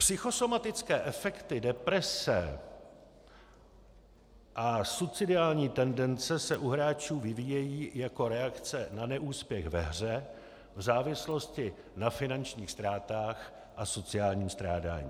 Psychosomatické efekty, deprese a suicidální tendence se u hráčů vyvíjejí jako reakce na neúspěch ve hře, v závislosti na finančních ztrátách a sociálním strádání.